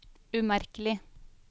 umerkelig